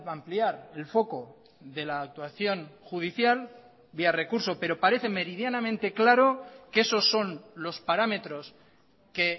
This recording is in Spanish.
ampliar el foco de la actuación judicial vía recurso pero parece meridianamente claro que esos son los parámetros que